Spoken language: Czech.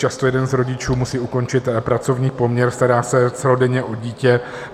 Často jeden z rodičů musí ukončit pracovní poměr, stará se celodenně o dítě.